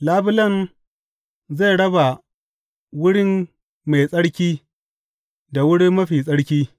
Labulen zai raba Wurin Mai Tsarki da Wurin Mafi Tsarki.